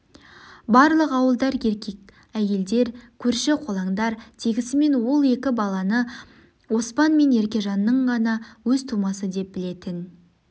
барлық ауылдар еркек әйелдер көрші-қолаңдар тегісімен ол екі баланы оспан мен еркежанның ғана өз тумасы деп білетін